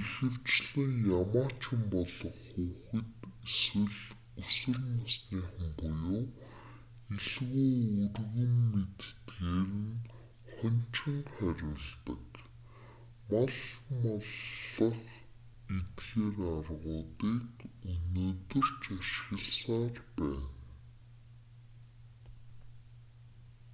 ихэвчлэн ямаачин болох хүүхэд эсвэл өсвөр насныхан буюу илүү өргөн мэддэгээр нь хоньчин хариулдаг мал маллах эдгээр аргуудыг өнөөдөр ч ашигласаар байна